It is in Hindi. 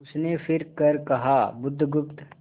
उसने फिर कर कहा बुधगुप्त